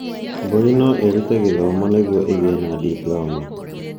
Mbũri no ĩrute gĩthomo nĩguo ĩgĩe na diploma